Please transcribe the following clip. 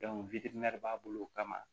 b'a bolo kama